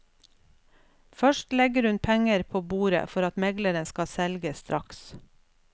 Først legger hun penger på bordet for at megleren skal selge straks.